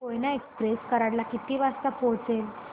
Koyna express Karad ला किती वाजता पोहचेल